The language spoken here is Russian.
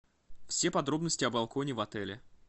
все подробности о балконе в отеле